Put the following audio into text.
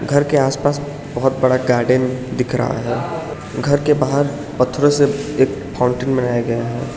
घर के आसपास बहुत बड़ा गार्डन दिख रहा है घर के बाहर पत्थरों से एक फाउंटेन बनाया गया है।